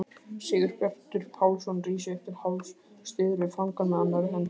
Sigurbjartur Pálsson rís upp til hálfs, styður við fangann með annarri hendinni.